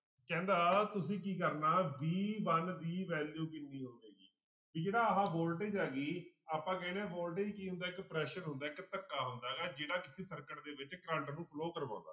ਕਹਿੰਦਾ ਤੁਸੀਂ ਕੀ ਕਰਨਾ b one ਦੀ value ਕਿੰਨੀ ਹੋਵੇਗੀ, ਵੀ ਜਿਹੜਾ ਆਹ voltage ਆ ਗਈ ਆਪਾਂ ਕਹਿੰਦੇ ਹਾਂ voltage ਕੀ ਹੁੰਦਾ ਇੱਕ pressure ਹੁੰਦਾ ਇੱਕ ਧੱਕਾ ਹੁੰਦਾ ਗਾ ਜਿਹੜਾ ਕਿਸੇ circuit ਦੇ ਵਿੱਚ ਕਰੰਟ ਨੂੰ flow ਕਰਵਾਉਂਦਾ।